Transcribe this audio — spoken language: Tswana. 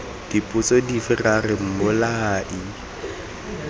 dipotso dife ra re mmolai